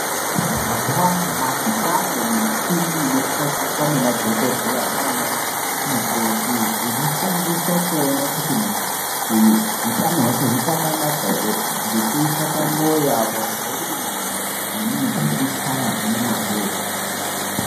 Mazuvanyamashi kwaane mishini inoshandiswa ngemadhogodheya nanamukoti inoshandiswa kuona kuti muntu uyu utano hwake uchakanaka here, ngekuisa pamoyo apa kuzwa kuti moyo wemuntu urikuchaya ngemazvo here.